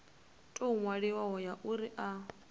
tou ṅwaliwaho ya uri a